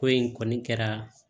Ko in kɔni kɛra